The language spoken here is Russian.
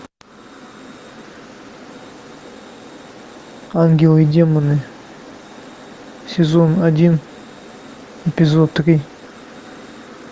ангелы и демоны сезон один эпизод три